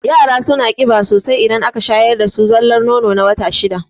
Yara suna ƙiba sosai idan aka shayar dasu da zallan nono na wata shida